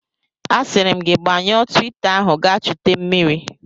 A siri m gi gbanyụọ twita ahu gaa chute mmiri!